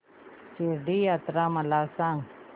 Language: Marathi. शिर्डी यात्रा मला सांग